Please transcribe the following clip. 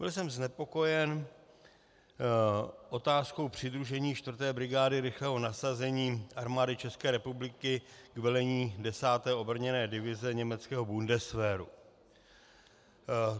Byl jsem znepokojen otázkou přidružení 4. brigády rychlého nasazení Armády České republiky k vedení 10. obrněné divize německého Bundeswehru.